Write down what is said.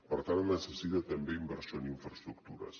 per tant necessita també inversió en infraestructures